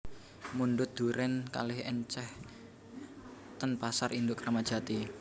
Mundhut duren kalih enceh ten pasar induk Kramat Jati